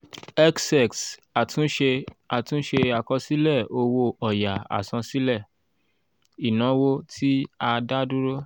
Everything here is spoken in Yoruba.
xx àtúnṣe àtúnṣe àkọsílẹ̀ owó ọ̀yà àsansílẹ̀ ìnáwó tí a dá dúró.